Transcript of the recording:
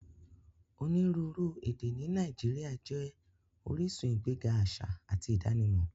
Onírúuru èdè ni Nàìjíríà jẹ oríṣun igbẹ̀ga aṣa àti idànímọ